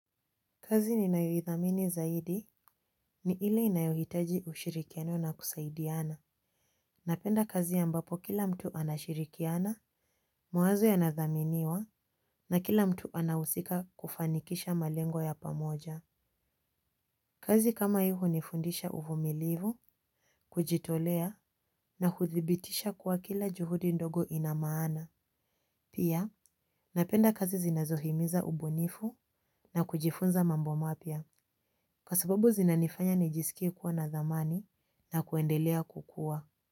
Kazi ninayoithamini zaidi ni ile inayohitaji ushirikiano na kusaidiana. Napenda kazi ambapo kila mtu anashirikiana, mawazo yanadhaminiwa na kila mtu anahusika kufanikisha malengo ya pamoja. Kazi kama hii hunifundisha uvumilivu, kujitolea na hudhibitisha kuwa kila juhudi ndogo lina maana pia, napenda kazi zinazohimiza ubunifu na kujifunza mambo mapya. Kwa sababu zinanifanya nijiskie kuwa na dhamani na kuendelea kukuwa.